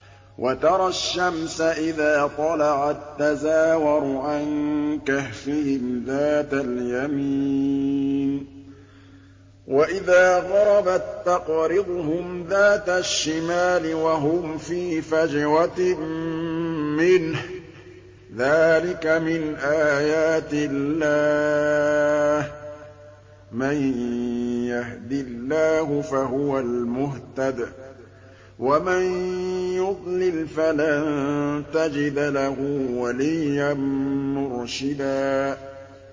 ۞ وَتَرَى الشَّمْسَ إِذَا طَلَعَت تَّزَاوَرُ عَن كَهْفِهِمْ ذَاتَ الْيَمِينِ وَإِذَا غَرَبَت تَّقْرِضُهُمْ ذَاتَ الشِّمَالِ وَهُمْ فِي فَجْوَةٍ مِّنْهُ ۚ ذَٰلِكَ مِنْ آيَاتِ اللَّهِ ۗ مَن يَهْدِ اللَّهُ فَهُوَ الْمُهْتَدِ ۖ وَمَن يُضْلِلْ فَلَن تَجِدَ لَهُ وَلِيًّا مُّرْشِدًا